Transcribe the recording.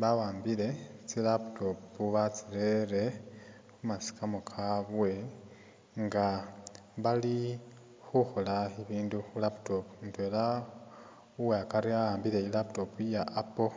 bawambile tsi laptop batsirere khumasikamo kabwe nga bali khukhola ibindu khu laptop, mutwela uwakari a'ambile i'laptop iya apple,